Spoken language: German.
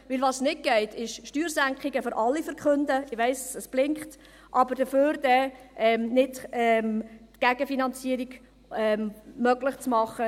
Denn was nicht geht, ist, Steuersenkungen für alle zu verkünden – ich weiss, es blinkt –, aber dafür dann die Gegenfinanzierung nicht möglich zu machen.